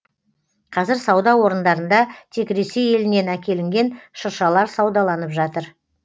қазір сауда орындарында тек ресей елінен әкелінген шыршалар саудаланып жатыр